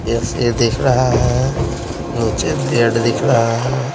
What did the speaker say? एस_ये दिख रहा है नीचे बेड दिख रहा है।